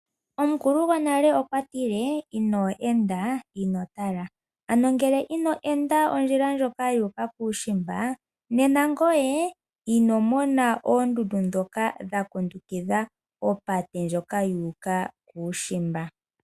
Omukulu gwonale okwa tile ino enda ino tala, ano ngele ino enda ondjila ndyoka yu uka kuushimba nena ngoye ino mona oondundu dhoka dhakundukidha opate ndjoka yu uka kuushimba.